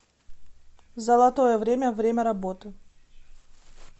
золотое время время работы